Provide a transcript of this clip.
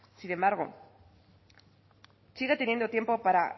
sin embargo sigue teniendo tiempo para